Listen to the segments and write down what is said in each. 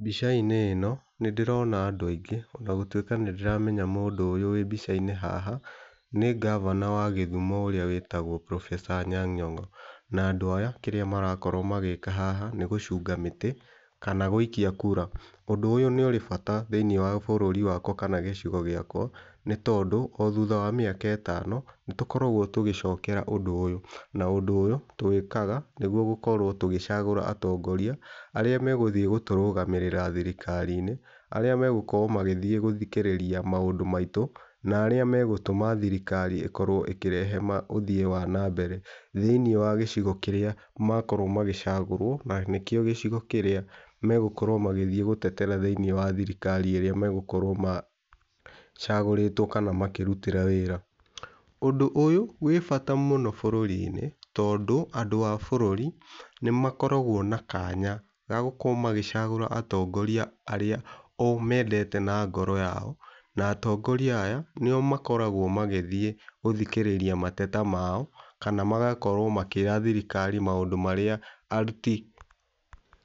Mbica-inĩ ĩno nĩndĩrona andũ aingĩ ona gũtuĩka nĩndĩramenya mũndũ ũyũ wĩ mbicainĩ haha nĩ governor wa gĩthumo ũrĩa wĩtagwo Professor Anyang Nyong na andũ aya kĩrĩa marakorwo magĩka nĩgũcunga mĩtĩ kana gũikia kura. Ũndũ ũyũ nĩ ũrĩ bata thĩiniĩ wa bũrũri wakwa kana gĩcigo gĩakwa nĩ tondũ othutha wa mĩaka ĩtano nĩtũkoragwo tũgĩcokera ũndũ ũyũ na ũndũ ũyũ tũwĩkaga nĩguo gũkorwo tũgĩcagũra atongoria arĩa megũthiĩ gũtũrũgamĩrĩra thirikari -inĩ, arĩa megũkorwo magĩthikĩrĩria maũndũ maitũ na arĩa megũkorwo thirikari itũ ĩkĩreha ũthii wana mbere thĩiniĩ wa gĩcigo kĩrĩa makorwo magĩcagũrwo nĩkĩo gĩcigo kĩrĩa megũkorwo magĩterera thĩiniĩ wa thirikari ĩrĩa megũkorwo macagũrĩtwo makĩrutĩra wĩra. Ũndũ ũyũ wĩ bata mũno bũrũri -inĩ tondũ andũ a bũrũri nĩmakoragwo na kanya gagũkorwo magĩcagũra atongoria arĩa o mendete na ngoro yao na atongoria aya nĩo makoragwo magĩthiĩ gũthikĩrĩria mateta mao kana magakorwo makĩra thirikari maũndũ marĩa aruti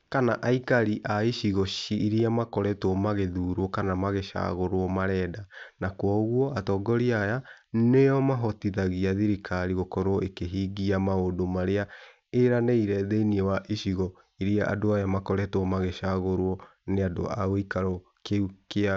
kana aikari a icigo iria makoretwo magĩthurwa kana mangĩcagũrwo arĩa marenda. Na kwoguo atongoria aya nĩo mahotithagia thirikari ĩkoro ĩkĩhingia maũndũ marĩa ĩranĩire thĩiniĩ wa icigo irĩa andũ aya makoretwo magĩcagũrwo nĩ andũ agĩikarwo kĩu kĩao.